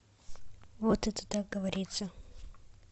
вот это так говорится